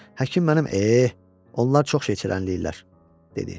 Həkim mənim, eh, onlar çox şey içənləyirlər," dedi.